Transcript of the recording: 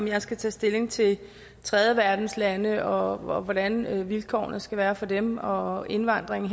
jeg skal tage stilling til tredjeverdenslande og hvordan vilkårene skal være for dem og og indvandringen